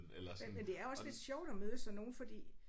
Men men det er også lidt sjovt at møde sådan nogle fordi